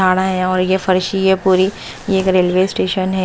है और ये फर्शी है पूरी ये एक रेलवे स्टेशन है।